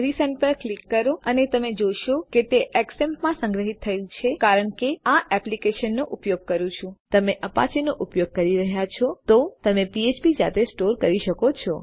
resend પર click કરો અને તમે જોઈ શકો છો કે તે ઝેમ્પ માં સંગ્રહિત થયું છે કારણ કે હું આ એપ્લિકેશનનો ઉપયોગ કરું છું પરંતુ જો તમે અપાચે નો ઉપયોગ કરી રહ્યા છો તો તમે ફ્ફ્પ જાતે સ્ટોર કરી શકો છો